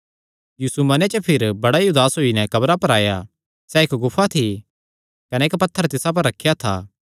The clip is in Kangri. यीशु मने च भिरी बड़ा ई उदास होई नैं कब्रा पर आया सैह़ इक्क गुफा थी कने इक्क पत्थर तिसा पर रखेया था